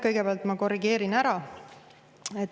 Kõigepealt ma korrigeerin ära.